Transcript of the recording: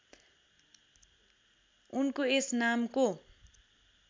उनको यस नामको